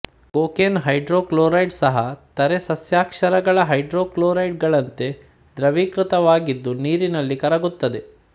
cocaine hydrochloride ಸಹ ಿತರೆ ಸಸ್ಯಕ್ಷಾರಗಳ ಹೈಡ್ರೋಕ್ಲೋರೈಡ್ ಗಳಂತೆ ಧೃವೀಕೃತವಾಗಿದ್ದು ನೀರಿನಲ್ಲಿ ಕರಗುತ್ತದೆ